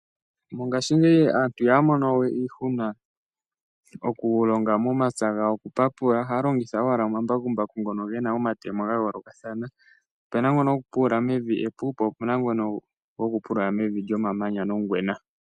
Mongaashingeyi aantu iha ya mono we iihuna okulonga momapya gawo okupapula ohaya longitha owala omambakumbaku ngono ge na omatemo ga yoolokathana, opu na ngono gokupulula mevi epu, po opu na ngono gokupulula mevi lyomamanya nongwena.